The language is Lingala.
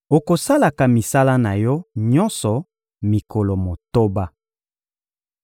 Okosalaka misala na yo nyonso mikolo motoba.